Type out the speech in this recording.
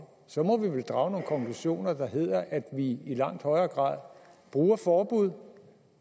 så må vi vel drage nogle konklusioner der hedder at vi i langt højere grad bruger forbud